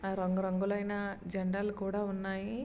ఆ రంగు రంగులైన జండాలు కూడా ఉన్నాయి.